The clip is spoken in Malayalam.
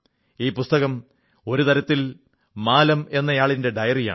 ഈ പുസ്തകം ഒരു തരത്തിൽ മാലം എന്നയാളിന്റെ ഡയറിയാണ്